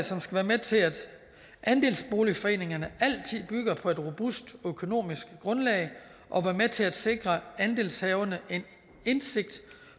som skal være med til at andelsboligforeningerne altid bygger på et robust økonomisk grundlag og være med til at sikre andelshaverne en indsigt